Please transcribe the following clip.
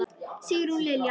Sigrún Lilja.